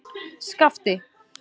Skapti